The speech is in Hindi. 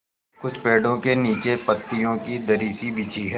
कुछ पेड़ो के नीचे पतियो की दरी सी बिछी है